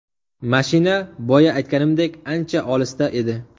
Mashina boya aytganimdek, ancha olisda edi.